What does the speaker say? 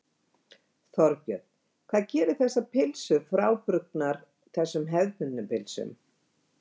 Þorbjörn: Hvað gerir þessar pylsur frábrugðnar þessum hefðbundnu pylsum?